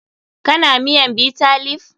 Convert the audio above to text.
Kana miyan Bitter leaf?